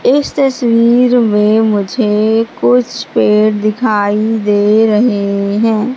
इस तस्वीर में मुझे कुछ पेड़ दिखाई दे रहे हैं।